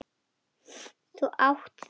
Þú átt það.